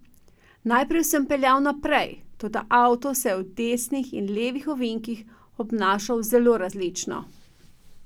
Najprej sem peljal naprej, toda avto se je v desnih in levih ovinkih obnašal zelo različno.